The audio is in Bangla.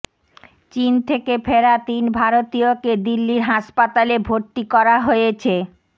চিন থেকে ফেরা তিন ভারতীয়কে দিল্লির হাসপাতালে ভর্তি করা হয়েছে